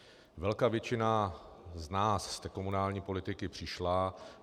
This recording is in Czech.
Velká většina z nás z té komunální politiky přišla.